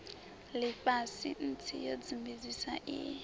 lifhasi nsi yo sumbedzisa i